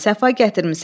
Səfa gətirmisən.